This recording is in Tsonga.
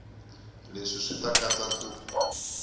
leswi swi ta katsa ku